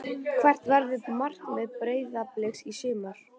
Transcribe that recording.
Hvert verður markmið Breiðabliks í sumar?